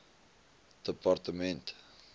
departement